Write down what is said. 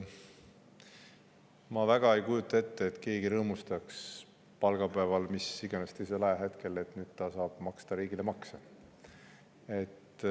Ma ei kujuta väga ette, et palgapäeval või mis iganes teisel ajahetkel keegi rõõmustaks, et nüüd ta saab riigile makse maksta.